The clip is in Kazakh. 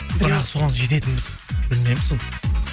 бірақ соған жететінбіз білмеймін сол